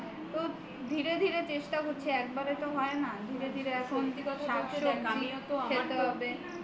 ধীরে ধীরে চেষ্টা করছে একবারে তো হয় না ধীরে ধীরে এখন শাকসব্জি খেতে হবে